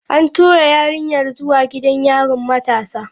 An tura yarinyar zuwa gidan yarin matasa.